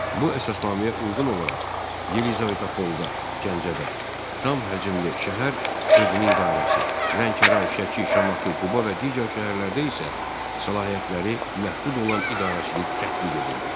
Bu əsasnaməyə uyğun olaraq Yelizavetapolda, Gəncədə tam həcmli şəhər özünü idarəsi, Lənkəran, Şəki, Şamaxı, Quba və digər şəhərlərdə isə səlahiyyətləri məhdud olan idarəçilik tətbiq edildi.